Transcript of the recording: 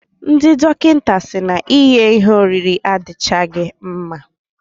Ndị dọkịta si na ighe ihe oriri adichaghi mma.